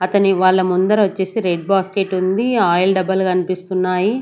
అతని వాళ్ళ ముందర వచ్చేసి రెడ్ బాస్కెట్ ఉంది ఆయిల్ డబ్బాలు కనిపిస్తున్నాయి.